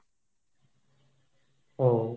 ও